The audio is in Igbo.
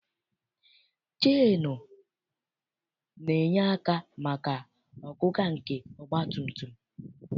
CHeenụ na-enye aka maka ọgụga nke ọgbatumtum.